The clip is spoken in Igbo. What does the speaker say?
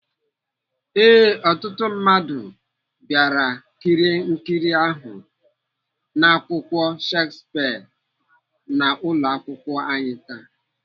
Ee, ọtụtụ ndị mmadụ bịara kirie nkiri ahụ n'èkwùrù Shakespeare n'ụlọakwụkwọ anyị taa.